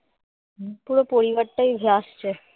পুরো পরিবারটি যাচ্ছে